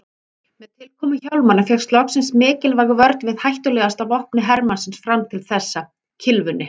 Með tilkomu hjálmanna fékkst loksins mikilvæg vörn við hættulegasta vopni hermannsins fram til þessa, kylfunni.